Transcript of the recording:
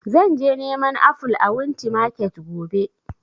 Zan je neman aful a wunti market gobe